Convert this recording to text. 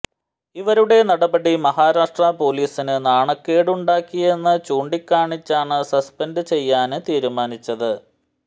ഇവരുടെ നടപടി മഹാരാഷ്ട്ര പോലീസിന് നാണക്കേടുണ്ടാക്കിയെന്ന് ചൂണ്ടിക്കാണിച്ചാണ് സസ്പെന്ഡ് ചെയ്യാന് തീരുമാനിച്ചത്